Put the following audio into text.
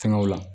Fɛngɛw la